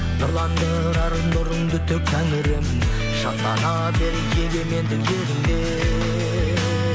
нұрландырар нұрыңды төк тәңірім шаттана бер егеменді жеріңде